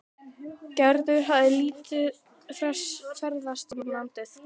Gerður hafði lítið ferðast um landið.